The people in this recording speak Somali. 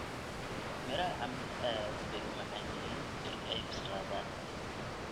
Midhaha cambe aad bay u macaan yihiin marka ay bislaadaan.